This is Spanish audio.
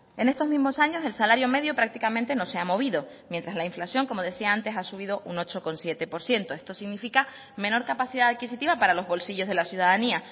en estos mismos años el salario medio prácticamente no se ha movido mientras la inflación como decía antes ha subido un ocho coma siete por ciento esto significa menor capacidad adquisitiva para los bolsillos de la ciudadanía